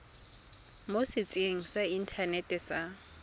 mo setsheng sa inthanete sa